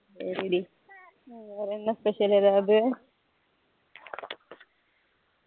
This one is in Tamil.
சரி டி ஹம் வேற என்ன special ஏதாவது